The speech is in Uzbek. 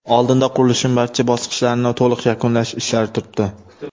Oldinda qurilishning barcha bosqichlarini to‘liq yakunlash ishlari turibdi.